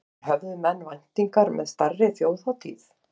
En höfðu menn væntingar með stærri þjóðhátíð?